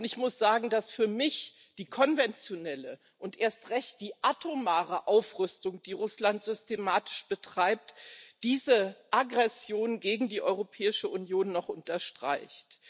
Ich muss sagen, dass für mich die konventionelle und erst recht die atomare Aufrüstung, die Russland systematisch betreibt, diese Aggression gegen die Europäische Union noch unterstreicht.